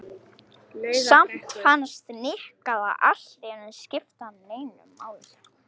Samt fannst Nikka það allt í einu ekki skipta neinu máli.